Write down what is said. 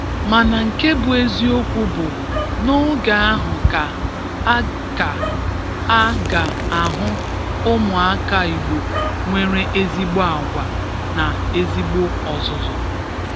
Mana nke bụ eziokwu bụ, n'oge ahụ ka a ka a ga-ahụ ụmụaka Igbo nwere ezigbo agwa na ezigbo ọzụzụ.